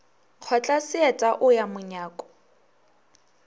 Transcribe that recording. kgotla seeta o ya monyako